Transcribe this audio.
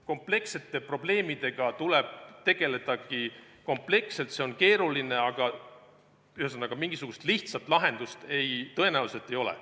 Komplekssete probleemidega tulebki tegelda kompleksselt, see on keeruline, aga mingisugust lihtsat lahendust tõenäoliselt ei ole.